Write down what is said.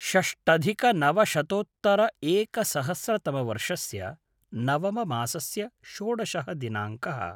षष्टधिकनवशतोत्तर एकसहस्रतमवर्षस्य नवम मासस्य षोडशः दिनाङ्कः